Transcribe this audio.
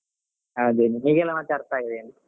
ಅದೇ ಹೀಗೇನೆ ಮತ್ತೆ ಅರ್ಥ ಆಗದೆ ಏನ್.